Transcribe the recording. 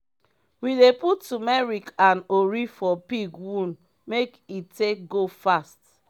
we dey put tumeric and ori for pig wound make e take go fast